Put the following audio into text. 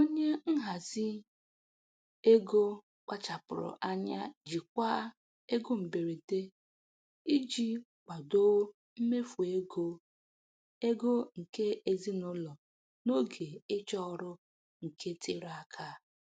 Onye nhazi ego kpachapụrụ anya jikwaa ego mberede iji kwadoo mmefu ego ego nke ezinụlọ n'oge ịchọ ọrụ nke tere aka.